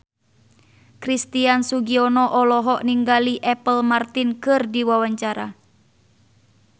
Christian Sugiono olohok ningali Apple Martin keur diwawancara